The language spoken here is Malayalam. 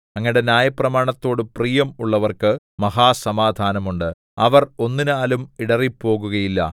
അങ്ങയുടെ ന്യായപ്രമാണത്തോട് പ്രിയം ഉള്ളവർക്ക് മഹാസമാധാനം ഉണ്ട് അവർ ഒന്നിനാലും ഇടറിപ്പോകുകയില്ല